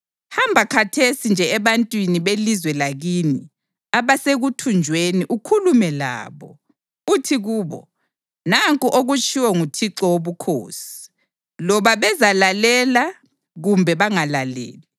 Hamba khathesi nje ebantwini belizwe lakini abasekuthunjweni ukhulume labo. Uthi kubo, ‘Nanku okutshiwo nguThixo Wobukhosi,’ loba bezalalela kumbe bangalaleli.”